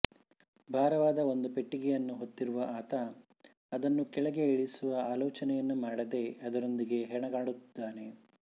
ಭಾರವಾದ ಒಂದು ಪೆಟ್ಟಿಗೆಯನ್ನು ಹೊತ್ತಿರುವ ಆತ ಅದನ್ನು ಕೆಳಗೆ ಇಳಿಸುವ ಆಲೋಚನೆಯನ್ನೇ ಮಾಡದೆ ಅದರೊಂದಿಗೆ ಹೆಣಗಾಡುತ್ತಾನೆ